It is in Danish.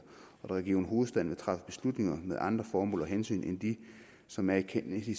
og at region hovedstaden vil træffe beslutninger med andre formål og hensyn end dem som er i kennedy